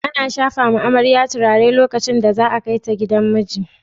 Ana shafawa amare turare lokacin da za a kai su gidan miji.